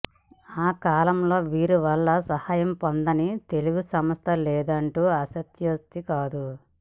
ఆ కాలంలో వీరి వలన సహాయం పొందని తెలుగు సంస్థ లేదంటే అతిశయోక్తి కాదు